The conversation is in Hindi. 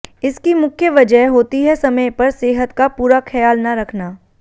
इसकी मुख्य वजह होती है समय पर सेहत का पूरा खयाल न रखना